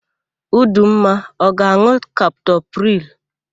Udumma ọ ga-an̄ụ kaptopril?